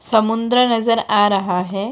समुद्र नजर आ रहा है।